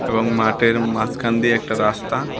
এবং মাটের মাসখান দিয়ে একটা রাস্তা।